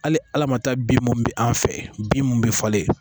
Hali ala ma taa bin munnu bi an fɛ bin munnu be falen